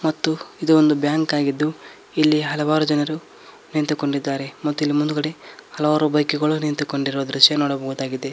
ಮತ್ತು ಇದು ಒಂದು ಬ್ಯಾಂಕ್ ಆಗಿದ್ದು ಇಲ್ಲಿ ಹಲವಾರು ಜನರು ನಿಂತುಕೊಂಡಿದ್ದಾರೆ ಮತ್ತು ಇಲ್ಲಿ ಮುಂದುಗಡೆ ಹಲವಾರು ಬೈಕು ಗಳು ನಿಂತುಕೊಂಡಿರುವ ದೃಶ್ಯ ನೋಡಬಹುದಾಗಿದೆ.